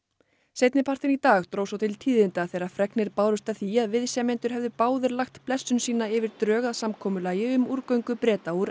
seinnipartinn í dag dró svo til tíðinda þegar fregnir bárust af því að viðsemjendur hefðu báðir lagt blessun sína yfir drög að samkomulagi um úrgöngu Breta úr